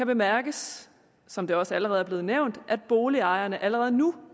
bemærkes som det også allerede er blevet nævnt at boligejerne allerede nu